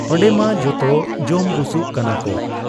ᱚᱱᱰᱮᱢᱟ ᱡᱚᱛᱚ ᱡᱚᱢ ᱵᱩᱥᱩᱵ ᱠᱟᱱᱟᱠᱚ ᱾